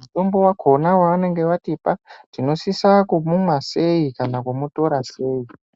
mutombo wakhona wevanenge vatipa, tinosisa kumumwa sei, kana kumutora sei.